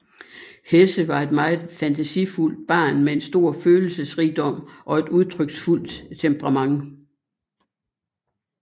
Hesse var et meget fantasifuldt barn med stor følelsesrigdom og et udtryksfuldt temperament